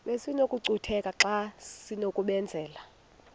besinokucutheka xa besinokubenzela